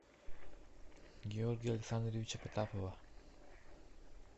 георгия александровича потапова